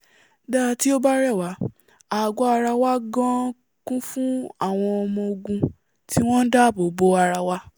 dá tí ó bá rẹ̀wá àgọ́ ara wa gan-an kún fún àwọn ọmọ-ogun tí wọ́n ndáàbò bo ara wa